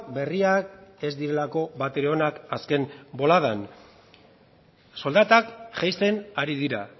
berriak ez direlako batere onak azken boladan soldatak jaisten ari dira